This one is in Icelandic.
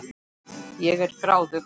Ég er gráðug.